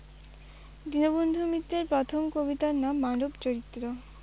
দীনবন্ধু মিত্রের প্রথম কবিতার নাম মানব চরিত্র।